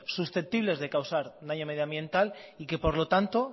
susceptibles de causar daño medioambiental y que por lo tanto